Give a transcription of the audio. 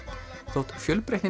þótt fjölbreytnin